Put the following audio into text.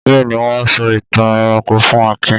Bẹ́ẹ̀ ni, wọ́n sọ ìtàn ẹranko fún Akin.